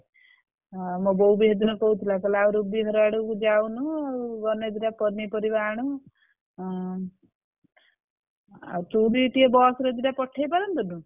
ହଁ ମୋ ବୋଉ ବି ସେ ଦିନ କହୁଥିଲା କହିଲା ରୁବି ଘର ଆଡକୁ ଯାଉନୁ ଆଉ ଗଲେ ଦି ଟାପନିପରିବା ଆଣୁ ହୁଁ ଆଉ ତୁ ବି ଟିକେ bus ରେ ଦି ଟା ପଠେଇ ପାରନ୍ତୁନୁ?